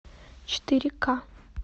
четыре ка